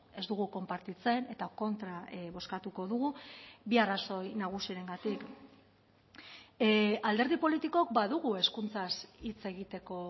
ez dugu konpartitzen eta kontra bozkatuko dugu bi arrazoi nagusirengatik alderdi politikok badugu hezkuntzaz hitz egiteko